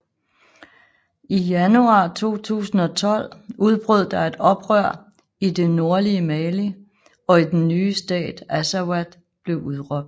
I januar 2012 udbrød der et oprør i det nordlige Mali og den nye stat Azawad blev udråbt